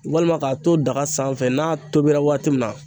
Walima k'a to daga sanfɛ n'a tobira waati min na